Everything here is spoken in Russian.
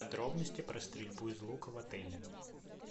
подробности про стрельбу из лука в отеле